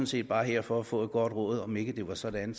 set bare her for at få et godt råd om ikke det var sådan